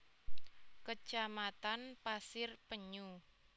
Kecamatan Pasir Penyu